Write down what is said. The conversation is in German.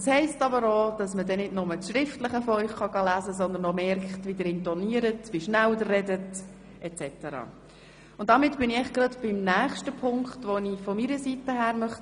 Das heisst dann aber auch, dass man nicht nur das Schriftliche von Ihnen lesen kann, sondern merkt, wie Sie intonieren, wie schnell Sie reden, etc. Damit bin ich beim nächsten Punkt, den ich von meiner Seite her anbringen möchte.